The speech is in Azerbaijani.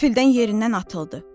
Qəfildən yerindən atıldı.